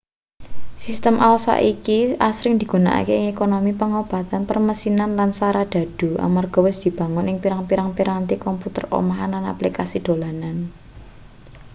sistem ai saiki asring digunakake ing ekonomi pangobatan permesinan lan saradhadhu amarga wis dibangun ing pirang-pirang piranti komputer omahan lan aplikasi dolanan